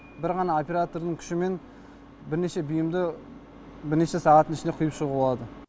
бір ғана оператордың күшімен бірнеше бұйымды бірнеше сағаттың ішінде құйып шығуға болады